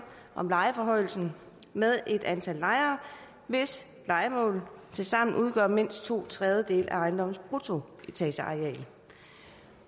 om lejeforhøjelsen med et antal lejere hvis lejemål tilsammen udgør mindst to tredjedele af ejendommens bruttoetageareal